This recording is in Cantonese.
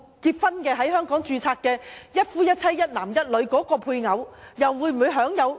在香港註冊"一夫一妻"、"一男一女"的配偶，亦可享受福利嗎？